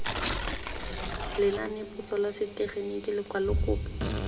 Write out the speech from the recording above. lenanepotso la setegeniki lekwalo kopo